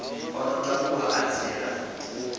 o ḓo takuwa a tsela